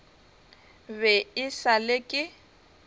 be e sa le ke